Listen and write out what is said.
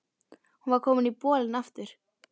Hún var komin í bolinn aftur.